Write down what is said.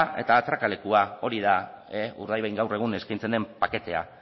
eta atrakalekua hori da urdaibain gaur egun eskaintzen den paketea